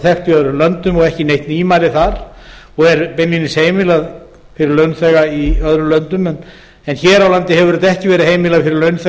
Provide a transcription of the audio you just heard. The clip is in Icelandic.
þekkt í öðrum löndum og ekki neitt nýmæli þar og er beinlínis heimilað fyrir launþega í öðrum löndum hér á landi hefur þetta ekki verið heimilað fyrir